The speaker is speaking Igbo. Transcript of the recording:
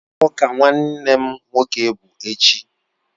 Iwa awka Nwannem nwoke bu echi